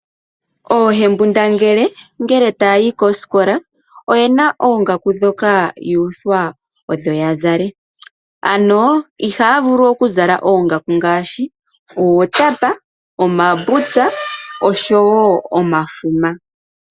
Oohembundangele ngele taya yi koosikola oyena oongaku ndhoka yuuthwa odho yazale . Ano ihaya vulu okukala oongaku ngaashi uutapa, omabutsa oshowoo omafuma.